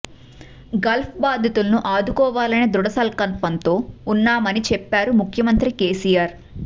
Gulf బాధితులను ఆదుకోవాలనే ధృడ సంకల్పంతో ఉన్నామని చెప్పారు ముఖ్యమంత్రి కేసీఆర్